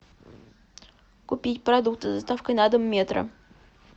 купить продукты с доставкой на дом метро